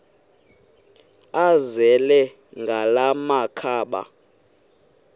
azele ngala makhaba